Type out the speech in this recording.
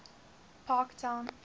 parktown